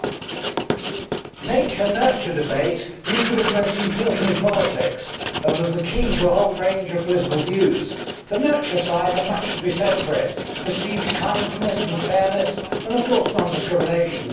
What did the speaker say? Mr President, the nature nurture debate used to be the most important in politics and was the key to a whole range of political views. The nurture side had much to be said for it perceived kindness and fairness and, of course, non discrimination.